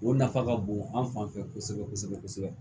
O nafa ka bon an fan fɛ kosɛbɛ kosɛbɛ kosɛbɛ